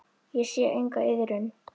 Ég sé enga iðrun.